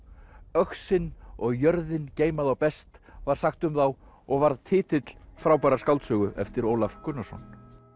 öxin og jörðin geyma þá best var sagt um þá og varð titill frábærrar skáldsögu eftir Ólaf Gunnarsson